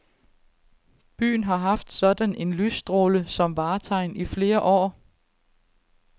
Byen har haft sådan en lysstråle som vartegn i flere år.